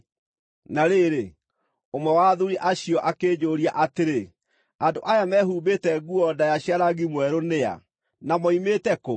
Na rĩrĩ, ũmwe wa athuuri acio akĩnjũũria atĩrĩ, “Andũ aya mehumbĩte nguo ndaaya cia rangi mwerũ nĩ a, na moimĩte kũ?”